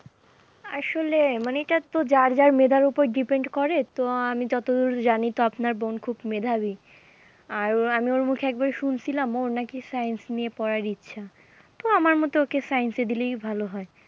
আসলে মানে এটা তো যার যার মেধার ওপর depend করে, তো আমি যতদূর জানি তো আপনার বোন খুব মেধাবী আর ওর মুখে আমি একবার শুনছিলাম ওর নাকি science নিয়ে পড়ার ইচ্ছা তো আমার মতে ওকে science এ দিলেই ভালো হয়।